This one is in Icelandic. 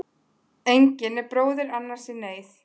Engin er bróðir í annars neyð.